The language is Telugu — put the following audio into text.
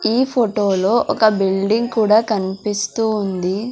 ఈ ఫొటో లో ఒక బిల్డింగ్ కూడా కన్పిస్తూ ఉంది.